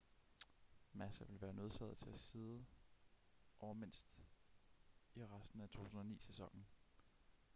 massa vil være nødsaget til at sidde over mindst i resten af 2009-sæsonen